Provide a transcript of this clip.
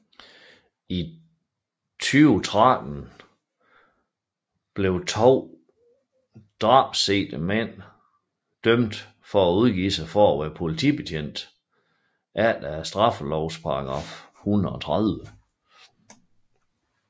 I 2013 blev de to drabssigtede mænd dømt for at udgive sig for at være politibetjente efter straffelovens paragraf 130